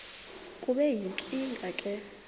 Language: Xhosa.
kube yinkinge ke